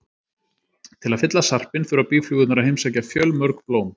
Til að fylla sarpinn þurfa býflugurnar að heimsækja fjölmörg blóm.